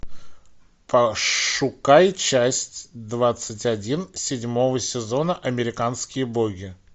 пошукай часть двадцать один седьмого сезона американские боги